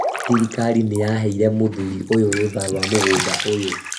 Thirikari nĩyaheire mũthuri ũyũ rũtha rwa mũgũnda ũyũ